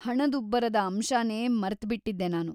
ಹಣದುಬ್ಬರದ ಅಂಶನೇ ಮರ್ತ್ಬಿಟಿದ್ದೆ ನಾನು.